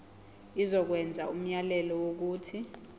izokwenza umyalelo wokuthi